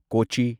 ꯀꯣꯆꯤ